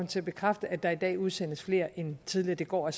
til at bekræfte at der i dag udsendes flere end tidligere det går